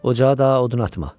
Ocağa daha odun atma.